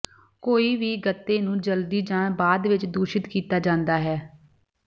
ਕੋਈ ਵੀ ਗੱਤੇ ਨੂੰ ਜਲਦੀ ਜਾਂ ਬਾਅਦ ਵਿੱਚ ਦੂਸ਼ਿਤ ਕੀਤਾ ਜਾਂਦਾ ਹੈ